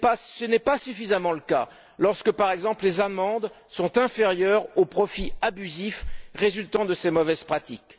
Ce n'est pas suffisamment le cas lorsque, par exemple, les amendes sont inférieures aux profits abusifs résultant de ces mauvaises pratiques.